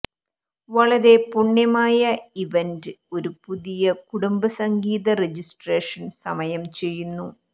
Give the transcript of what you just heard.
വളരെ പുണ്യമായ ഇവന്റ് ഒരു പുതിയ കുടുംബം സംഗീത രജിസ്ട്രേഷൻ സമയം ചെയ്യുന്നു